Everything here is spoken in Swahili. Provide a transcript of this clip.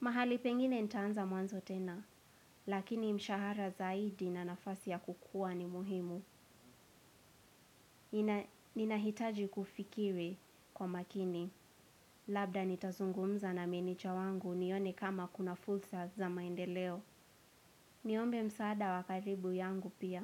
Mahali pengine nitaanza mwanzo tena, lakini mshahara zaidi na nafasi ya kukua ni muhimu. Ninahitaji kufikiri kwa makini, labda nitazungumza na meneja wangu nione kama kuna fulsa za maendeleo. Niombe msaada wa karibu yangu pia.